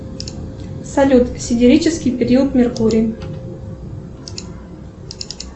салют сидерический период меркурий